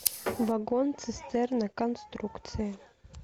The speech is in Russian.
вагон цистерна конструкция